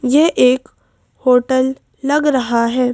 ये एक होटल लग रहा है।